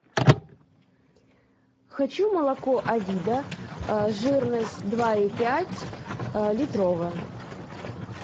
хочу молоко авида жирность два и пять литровое